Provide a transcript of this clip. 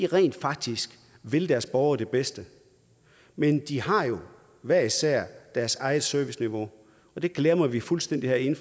rent faktisk vil deres borgere det bedste men de har jo hver især deres eget serviceniveau det glemmer vi fuldstændig herinde